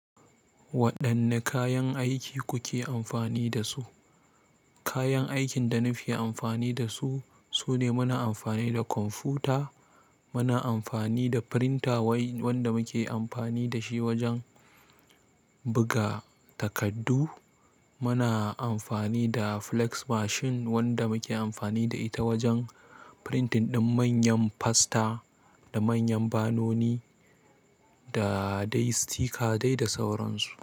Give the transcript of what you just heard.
Waɗanne kayan aiki kuke amfani da su? Kayan aikin da nake amfani dasu, shine muna amfani da komputa muna amfani da printa wanda muke amfani dashi wajan buga takadu. Muna amfani da flex machine wanda muke amfani da ita wajen pirintin ɗin manyan pasta da manyan banoni da dai sitika dai da sauran su.